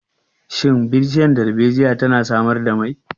Shin bishiyar darbejiya tana samar da mai?